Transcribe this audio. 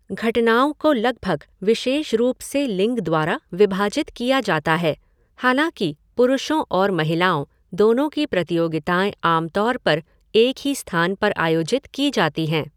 घटनाओं को लगभग विशेष रूप से लिंग द्वारा विभाजित किया जाता है, हालाँकि पुरुषों और महिलाओं दोनों की प्रतियोगिताएँ आम तौर पर एक ही स्थान पर आयोजित की जाती हैं।